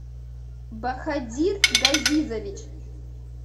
бахадир газизович